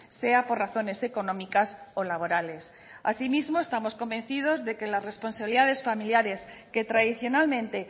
sea por razones económicas o laborales asimismo estamos convencidos de que las responsabilidades familiares que tradicionalmente